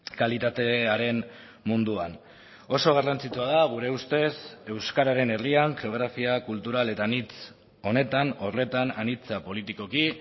kalitatearen munduan oso garrantzitsua da gure ustez euskararen herrian geografia kultural eta anitz honetan horretan anitza politikoki